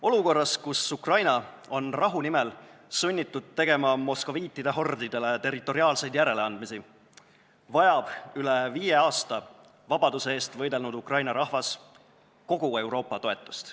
Olukorras, kus Ukraina on rahu nimel sunnitud tegema moskoviitide hordidele territoriaalseid järeleandmisi, vajab üle viie aasta vabaduse eest võidelnud Ukraina rahvas kogu Euroopa toetust.